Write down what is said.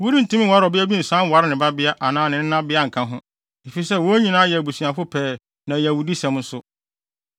“ ‘Worentumi nware ɔbea bi nsan nware ne babea anaa ne nenabea nka ho, efisɛ wɔn nyinaa yɛ abusuafo pɛɛ na ɛyɛ awudisɛm nso.